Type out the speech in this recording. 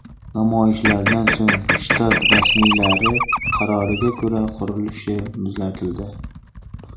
Namoyishlardan so‘ng shtat rasmiylari qaroriga ko‘ra qurilish muzlatildi.